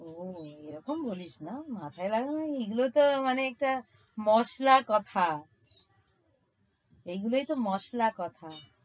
ওহ এরকম বলিস না, মাথায় লাগাবো মানে এগুলোতো মানে একটা মসলার কথা। এগুলা ইতো মসলা কথা।